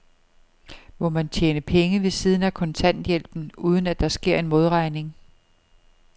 Må man tjene penge ved siden af kontanthjælpen, uden at der sker en modregning?